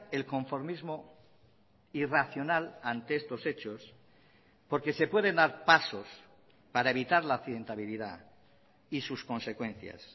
el conformismo irracional ante estos hechos porque se pueden dar pasos para evitar la accidentabilidad y sus consecuencias